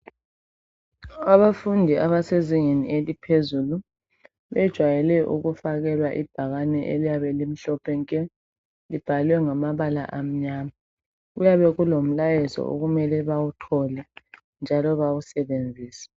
Abafundi abasezingeni eliphezulu bejayele ukufakelwa ibhakane eliyabe limhlophe nke libhalwe ngamabala amnyama. Kuyabe kulomlayezo okumele bawuthole njalo bawusebenzise.